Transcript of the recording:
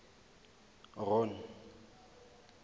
ron